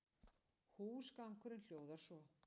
Húsgangurinn hljóðar svo